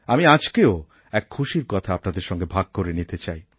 আমি আজকেও এক খুশির কথা আপনাদের সঙ্গে ভাগ করে নিতে চাই